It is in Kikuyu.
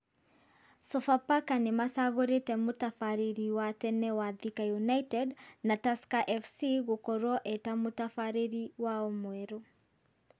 Sofapaka nĩmacagũrĩte mũtabarĩri wa tene wa Thika United na Tusker FC gũkorwo e ta mũtabarĩri wao mwerũ